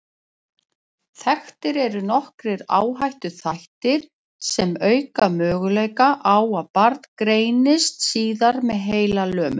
Þekktir eru nokkrir áhættuþættir sem auka möguleika á að barn greinist síðar með heilalömun.